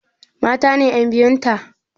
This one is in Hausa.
Mata ne ƴan biyun ta?